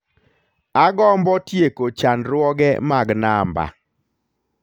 Agombo tieko chandruoge mag namba